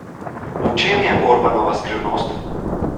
V čem je Orbanova skrivnost?